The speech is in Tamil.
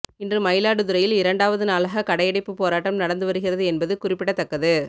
இன்று மயிலாடுதுறையில் இரண்டாவது நாளாக கடையடைப்பு போராட்டம் நடந்து வருகிறது என்பது குறிப்பிடத்தக்கது